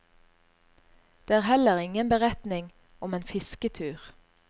Det er heller ingen beretning om en fisketur.